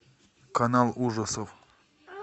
канал ужасов